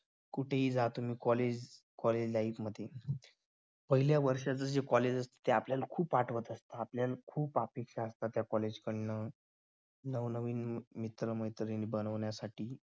कुठेही जा तुम्ही collegecollege life मध्ये पहिल्या वर्षाचं जे college असत ते आपल्याला खूप आठवत आपल्याला खूप अपेक्षा असतात त्या college कड न नवनवीन मित्र मैत्रिणी बनवण्यासाठी